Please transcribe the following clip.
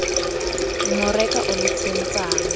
mo re ka o letsetsang